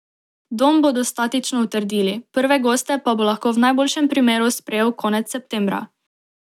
Dom bodo statično utrdili, prve goste pa bo lahko v najboljšem primeru sprejel konec septembra.